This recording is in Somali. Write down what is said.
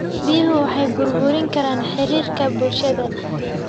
Biyuhu waxay burburin karaan xiriirka bulshada.